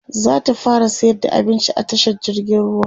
zata fara sayar da abinci a tashar jirgin ruwa